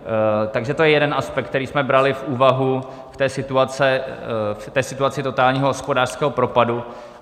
Takže to je jeden aspekt, který jsme brali v úvahu v té situaci totálního hospodářského propadu.